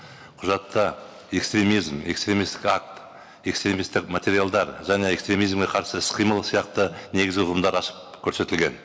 құжатта экстремизм экстремисттік акт экстремисттік материалдар және экстремизмге қарсы іс қимыл сияқты негізгі ұғымдар ашып көрсетілген